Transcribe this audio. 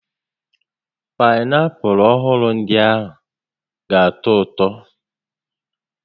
Paịnapụlụ ọhụrụ ndịa ga atọ ụtọ